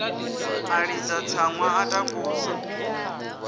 a ḽidza tsaṅwa a takusa